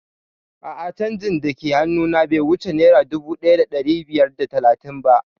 A'a canjin dake hannu na be wuce naira dubu ɗaya da ɗari biyar da talatin ba